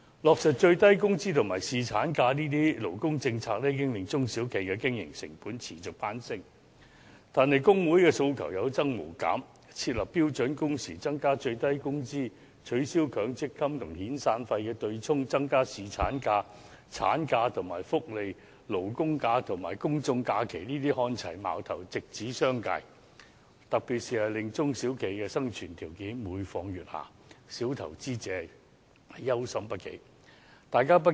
落實最低工資及侍產假等勞工政策已經令中小企的經營成本持續攀升，但工會的訴求有增無減，設立標準工時、增加最低工資、取消強制性公積金與遣散費對沖、增加侍產假、產假及福利、勞工假與公眾假期看齊等，矛頭直指商界，特別令中小企的生存條件每況愈下，小投資者憂心不已。